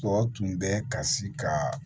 Tɔw tun bɛ kasi ka